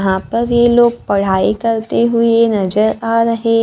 यहां पर ये लोग पढ़ाई करते हुए नजर आ रहे--